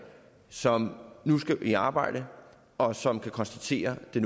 som nu skal i arbejde og som kan konstatere at det